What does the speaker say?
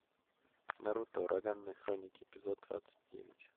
наруто ураганные хроники эпизод двадцать девять